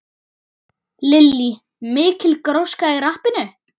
Lillý: Mikil gróska í rappinu?